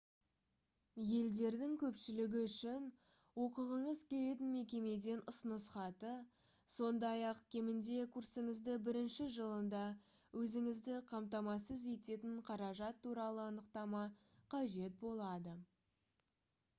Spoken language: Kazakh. елдердің көпшілігі үшін оқығыңыз келетін мекемеден ұсыныс хаты сондай-ақ кемінде курсыңыздың бірінші жылында өзіңізді қамтамасыз ететін қаражат туралы анықтама қажет болады